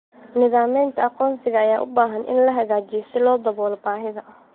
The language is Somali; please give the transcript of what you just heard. Nidaamyada aqoonsiga ayaa u baahan in la hagaajiyo si loo daboolo baahida.